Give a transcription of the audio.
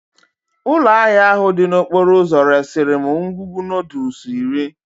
Ụlọ ahịa ahụ dị n'okporo ụzọ resiri m ngwugwu noodles iri